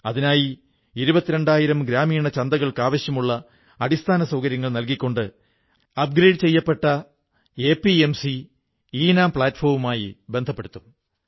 അതിനായി ഇരുപത്തിരണ്ടായിരം ഗ്രാമീണ ചന്തകൾക്ക് ആവശ്യമുള്ള അടിസ്ഥാനസൌകര്യങ്ങൾ നല്കിക്കൊണ്ട് അപ്ഗ്രേഡ് ചെയ്യപ്പെട്ട എപിഎംസി ഈനാം പ്ലാറ്റ്ഫോമുമായി ബന്ധപ്പെടുത്തും